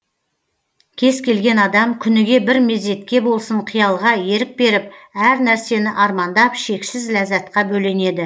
кез келген адам күніге бір мезетке болсын қиялға ерік беріп әр нәрсені армандап шексіз ләззатқа бөленеді